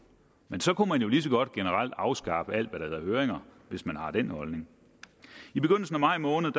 men så kunne man jo lige så godt generelt afskaffe alt hvad der hedder høringer hvis man har den holdning i begyndelsen af maj måned